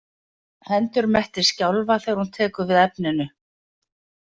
Hendur Mette skjálfa þegar hún tekur við efninu.